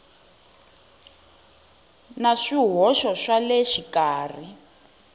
na swihoxo swa le xikarhi